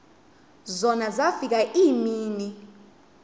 zona zafika iimini